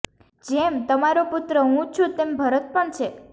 જેમ તારો પુત્ર્ા હું છું તેમ ભરત પણ છે